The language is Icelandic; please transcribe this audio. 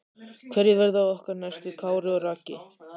Hverjir verða okkar næstu Kári og Raggi?